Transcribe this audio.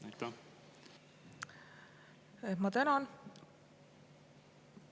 Ma tänan!